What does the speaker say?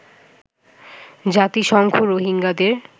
জাতিসংঘ রোহিঙ্গাদের